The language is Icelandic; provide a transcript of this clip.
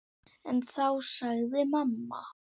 En þá sagði mamma